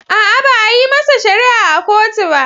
A'a, ba a yi masa shari'a a kotu ba.